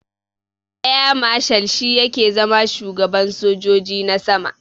Air marshal shi yake zama shugaban sojoji na sama.